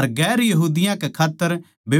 अर दुसरी जात्तां कै खात्तर बेकुफी सै